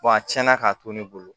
a cɛnna k'a to ne bolo